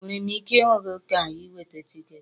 Enwere m ike ịhụ gị ka ị nweta tiketi?